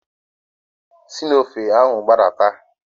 Si n'ofe ahụ gbadata.